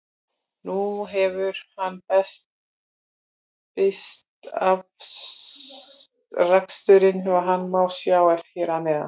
Nú hefur hann birt afraksturinn og hann má sjá hér að neðan.